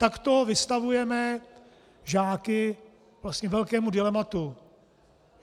Takto vystavujeme žáky vlastně velkému dilematu.